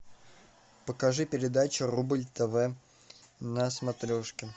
покажи передачу рубль тв на смотрешке